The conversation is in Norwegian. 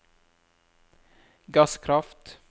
gasskraft